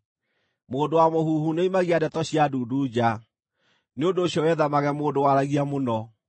Mũndũ wa mũhuhu nĩoimagia ndeto cia ndundu nja, nĩ ũndũ ũcio wĩthemage mũndũ waragia mũno.